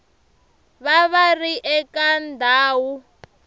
va va ri eka ndhawu